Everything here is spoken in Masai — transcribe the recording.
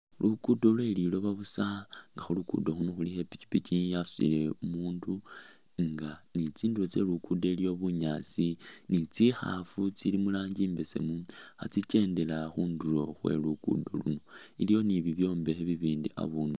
Luguudo lwe lilooba buusa nga khulugudo khuno khulikho ipikipiki yasutile umundu nge ne tsindulo tse luguudo iliyo bunyaasi je tsikhaafu itsiili mu rangi imbesemu khatsikendela khundulo khwe luguudo luno, iliwo ne bibyombekhe bibindi abundu aa.